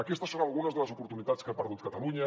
aquestes són algunes de les oportunitats que ha perdut catalunya